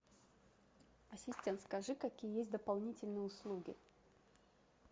ассистент скажи какие есть дополнительные услуги